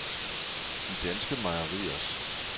De Danske Mejeriers